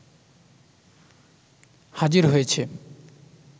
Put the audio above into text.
হাজির হয়েছে